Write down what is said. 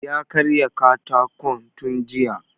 Ya karya katakon tun jiya